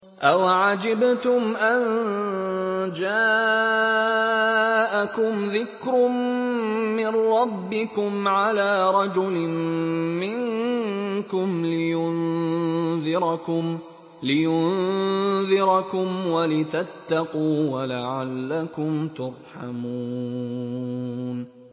أَوَعَجِبْتُمْ أَن جَاءَكُمْ ذِكْرٌ مِّن رَّبِّكُمْ عَلَىٰ رَجُلٍ مِّنكُمْ لِيُنذِرَكُمْ وَلِتَتَّقُوا وَلَعَلَّكُمْ تُرْحَمُونَ